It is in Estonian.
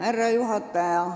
Härra juhataja!